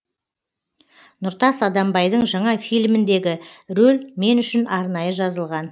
нұртас адамбайдың жаңа фильміндегі рөл мен үшін арнайы жазылған